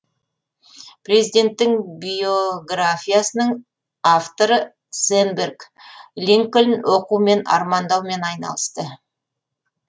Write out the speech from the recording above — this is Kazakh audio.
президенттің биогафиясының авторы сэнберг линкольн оқу мен армандаумен айналысты